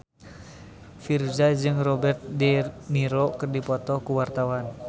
Virzha jeung Robert de Niro keur dipoto ku wartawan